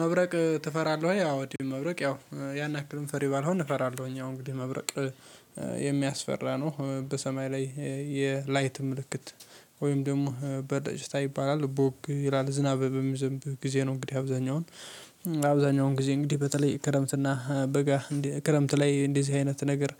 መብረቅ ትፈራለህ? አዎ መብረቅ ያው ያን ያክል ፈሪ ባልሆን እፈራለሁኝ አሁን እንግዲህ መብረቅ የሚያስፈራ ነው በሰማይ ላይ የላይት ምልክት ወይም ደግሞ በደጅታ ይባላል ቦክ ይላል ዝናብ በሚዘንብ ጊዜ ነው። እንግዲህ አብዛኛውን አብዛኛውን ጊዜ እንግዲህ በተለይ ክረምትና በጋ ክረምት ላይ እንደዚህ አይነት ነገር